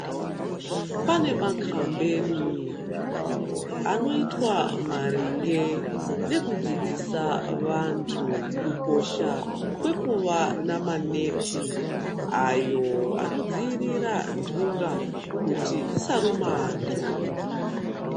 Pane makambeni anoitwa maringe nekudzidzisa antu kukosha kwekuva namaneti ayo anodzivirira ntunga kuti dsisaruma anyu.